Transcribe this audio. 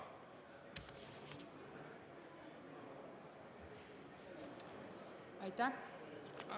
Aitäh!